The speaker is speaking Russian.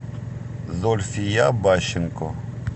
зульфия бащенко